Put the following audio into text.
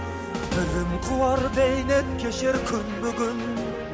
білім қуар бейнет кешер күнбе күн